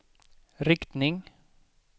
riktning